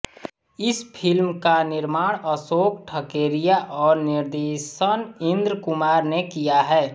इस फिल्म का निर्माण अशोक ठकेरिया और निर्देशन इन्द्र कुमार ने किया है